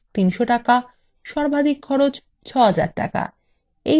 সর্বাধিক খরচ ৬০০০ টাকা